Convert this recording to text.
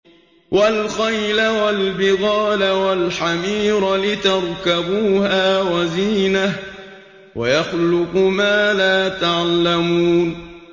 وَالْخَيْلَ وَالْبِغَالَ وَالْحَمِيرَ لِتَرْكَبُوهَا وَزِينَةً ۚ وَيَخْلُقُ مَا لَا تَعْلَمُونَ